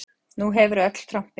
Nú hefurðu öll trompin.